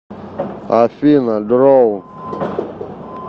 афина дроун